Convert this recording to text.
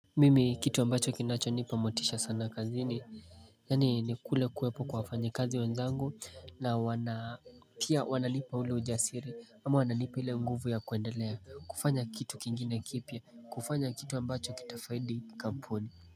Mimi kitu ambacho kinacho nipa motisha sana kazini yaani ni kule kuwepo kwa wafanyikazi wenzangu na wana pia wananipa ule ujasiri ama wananipa ile nguvu ya kuendelea kufanya kitu kingine kipya kufanya kitu ambacho kitafaidi kampuni.